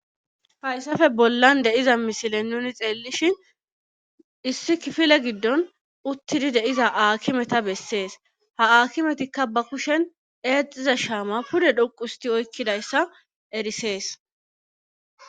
Fayssafe bollan deiza misilen nuni xeellishin issi kifile giddon uttidi deiza aakimeta bessees ha aakimetikka ba kushen eexxiza shaama pude dhoquusti oykkidayssa erisees.